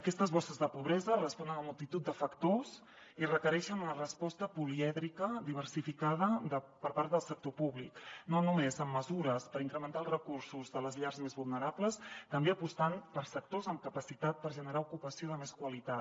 aquestes bosses de pobresa responen a multitud de factors i requereixen una resposta polièdrica diversificada per part del sector públic no només amb mesures per incrementar els recursos de les llars més vulnerables també apostant per sectors amb capacitat per generar ocupació de més qualitat